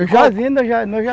Eu já